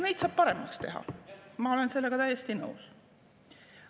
Neid saab paremaks teha, ma olen sellega täiesti nõus.